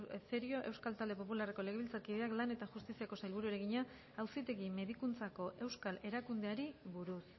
cerio euskal talde popularreko legebiltzarkideak lan eta justiziako sailburuari egina auzitegi medikuntzako euskal erakundeari buruz